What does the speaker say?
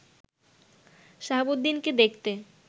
সাহাবউদ্দিনকে দেখতে